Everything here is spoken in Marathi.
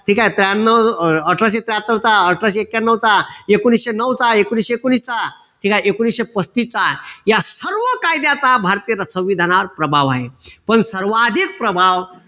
ठीक आहे त्र्यांन्नव अह अठराशे त्र्याहत्तरचा, अठराशे एक्याण्णवचा, एकोणीशे नऊचा, एकोणीशे एकोणवीसचा, ठीक एकोणीशे पस्तीसचा या सर्व कायद्याचा भारतीय संविधानात प्रभाव आहे, पण सर्वाधिक प्रभाव